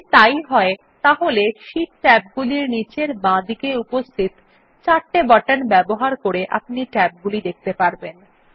যদি তাই হয় তাহলে শীট ট্যাবগুলির নীচের বাঁদিকে উপস্থিত চারটি বাটন ব্যবহার করে আপনি ট্যাবগুলি দেখতে পারবেন